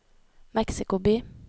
Mexico by